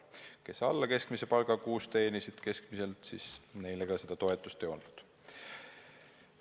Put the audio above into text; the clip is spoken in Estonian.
Neile, kes teenisid kuus keskmiselt alla keskmise palga, seda toetust ei antud.